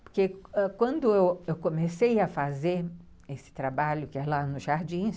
Porque quando eu comecei a fazer esse trabalho, que é lá nos Jardins,